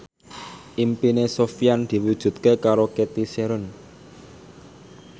impine Sofyan diwujudke karo Cathy Sharon